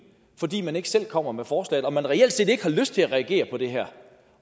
fordi man ikke selv kommer med forslaget og fordi man reelt set ikke har lyst til at reagere på det her